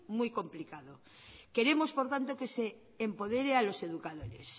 muy complicado queremos por tanto que se empodere a los educadores